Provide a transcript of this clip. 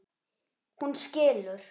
Hún skilur.